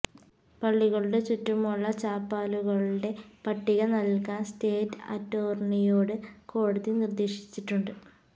പള്ളികളുടെ ചുറ്റുമുള്ള ചാപ്പലുകളുടെ പട്ടിക നല്കാന് സ്റ്റേറ്റ് അറ്റോര്ണിയോട് കോടതി നിര്ദ്ദേശിച്ചിട്ടുണ്ട്